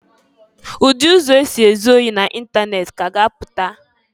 Udi ụzọ ọzọ esi ezụ ohi n'itanet ka a ga-apụta.